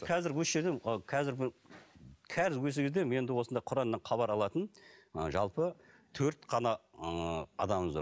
қазір осы жерде қазір қазір осы кезде менде осындай құраннан хабар алатын ы жалпы төрт қана ыыы адамымыз бар